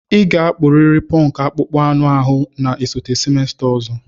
Ị ga-akpuriri punk akpụkpọ anụ ahụ na-esote semester ọzọ!